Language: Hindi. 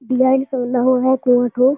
डिज़ाइन का बना हुआ है कुआँ ठो।